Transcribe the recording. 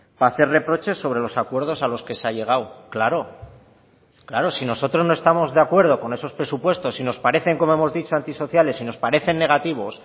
para hacer reproches sobre los acuerdos a los que se ha llegado claro claro si nosotros no estamos de acuerdo con esos presupuestos y nos parecen como hemos dicho anti sociales y nos parecen negativos